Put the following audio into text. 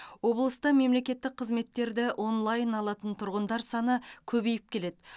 облыста мемлекеттік қызметтерді онлайн алатын тұрғындар саны көбейіп келеді